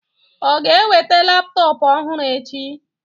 O ga-eweta laptọọpụ ọhụrụ echi?